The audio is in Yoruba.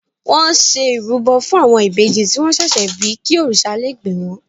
Wọ́n ṣe ìrúbọ fún àwọn ìbejì tí wọ́n ṣẹ̀ṣẹ̀ bí kí òrìṣà lé gbè wọ́n.